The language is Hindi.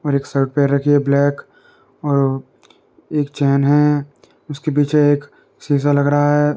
और एक शर्ट पेर रखी है ब्लैक एक चैन है | उसके पीछे एक शीशा लग रहा है।